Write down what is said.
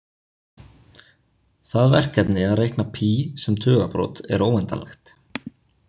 Það verkefni að reikna pí sem tugabrot er óendanlegt.